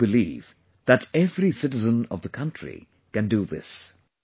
And I do believe that every citizen of the country can do this